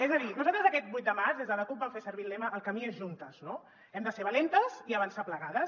és a dir nosaltres aquest vuit de març des de la cup vam fer servir el lema el camí és juntes no hem de ser valentes i avançar ple·gades